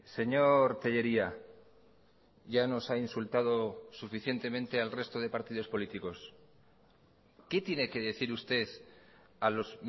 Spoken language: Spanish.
señor tellería ya nos ha insultado suficientemente al resto de partidos políticos qué tiene que decir usted a los